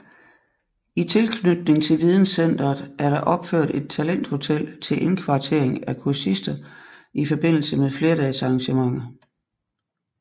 I tilknytning til videncenteret er der opført et talenthotel til indkvartering af kursister i forbindelse med flerdagesarrangementer